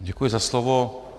Děkuji za slovo.